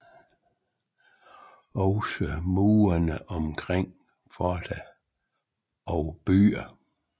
Også murene omkring forter og byer